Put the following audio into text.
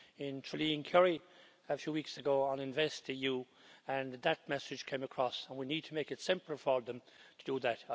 in Tralee in Kerry a few weeks ago on investEu, and that message came across and we need to make it simpler for them to do that.